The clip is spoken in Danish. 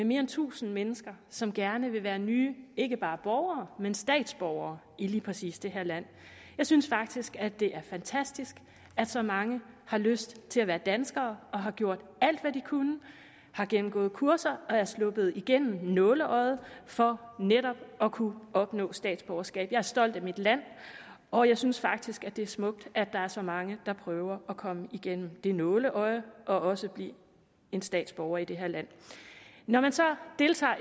mere end tusind mennesker som gerne vil være nye ikke bare borgere men statsborgere i lige præcis det her land jeg synes faktisk at det er fantastisk at så mange har lyst til at være danskere og har gjort alt hvad de kunne har gennemgået kurser og er sluppet igennem nåleøjet for netop at kunne opnå statsborgerskab jeg er stolt af mit land og jeg synes faktisk at det er smukt at der er så mange der prøver at komme igennem det nåleøje og også blive statsborger i det her land når man så deltager